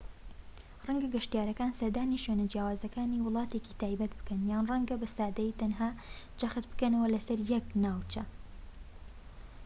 ڕەنگە گەشتیارەکان سەردانی شوێنە جیاوازەکانی وڵاتێکی تایبەت بکەن یان ڕەنگە بە سادەیی تەنها جەخت بکەنە سەر یەک ناوچە